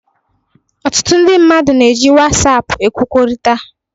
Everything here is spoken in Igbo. Ọtụtụ ndị mmadụ na-eji WhatsApp ekwukọrịta